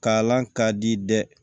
Kalan ka di dɛ